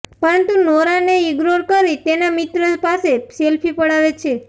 પરંતુ નોરાને ઇગ્નોર કરી તેના મિત્ર પાસે સેલ્ફી પડાવે છે